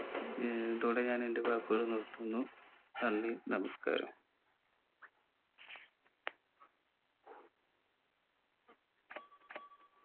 ഏർ ഇതോടെ ഞാൻ എന്റെ വാക്കുകൾ നിർത്തുന്നു നന്ദി നമസ്ക്കാരം